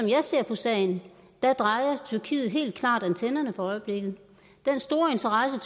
jeg ser på sagen drejer tyrkiet helt klart antennerne for øjeblikket den store interesse